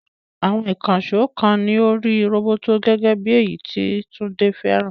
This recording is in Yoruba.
Àwọn ìkànṣó kan ní orí roboto, gẹ́gẹ́ bí èyí tí Tunde fẹ́ràn.